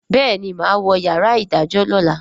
béèni má wọ yàrá idajọ lọla.